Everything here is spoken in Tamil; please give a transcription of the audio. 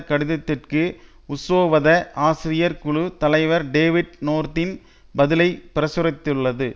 கடிதத்திற்கு உசோவத ஆசிரியர் குழு தலைவர் டேவிட் நோர்தின் பதிலை பிரசுரித்துள்ளது